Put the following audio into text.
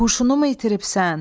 Huşunumu itiribsən?